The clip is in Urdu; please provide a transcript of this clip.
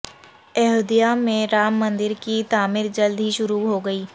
ایودھیا میں رام مندر کی تعمیر جلد ہی شروع ہوگی